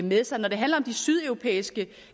med sig når det handler om de sydeuropæiske